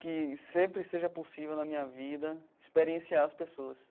Que sempre seja possível, na minha vida, experienciar as pessoas.